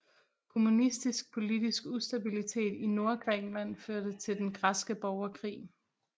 Kommunistisk politisk ustabilitet i Nordgrækenland førte til Den græske borgerkrig